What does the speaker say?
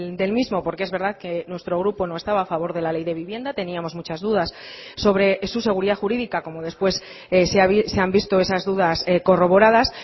del mismo porque es verdad que nuestro grupo no estaba a favor de la ley de vivienda teníamos muchas dudas sobre su seguridad jurídica como después se han visto esas dudas corroboradas